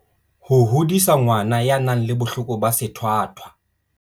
Ho hodisa ngwana ya nang le bohloko ba sethwathwa.